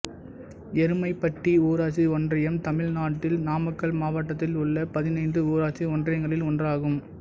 எருமைப்பட்டி ஊராட்சி ஒன்றியம் தமிழ்நாட்டின் நாமக்கல் மாவட்டத்தில் உள்ள பதினைந்து ஊராட்சி ஒன்றியங்களில் ஒன்றாகும்